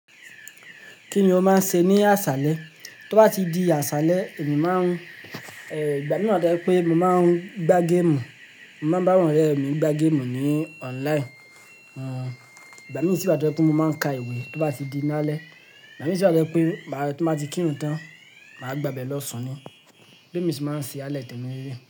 Kíni mo máa ń ṣe ní àṣálẹ́? Tó bá ti di àṣálẹ́, èmi má ń, ẹ, ìgbà mìíràn jẹ́ pé mo máa ń gbá game. Mo máa bá àwọn ọ̀rẹ́ mi gbá game ní online. Hmm, ìgbà mí sì wa to jẹ́ pé mo máa ń ka ìwé tó bá ti di lálẹ́. Ìgbà mìíràn si wa to jẹ́ pé màá, tó bá ti kírun tán, màá gbàbé lọ sùn ni. Bémi sì máa ń ṣe alẹ́ tẹ̀mí le leyi.